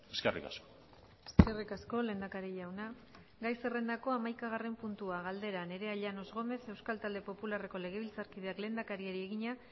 eskerrik asko eskerrik asko lehendakari jauna gai zerrendako hamaikagarren puntua galdera nerea llanos gomez euskal talde popularreko legebiltzarkideak lehendakariari egina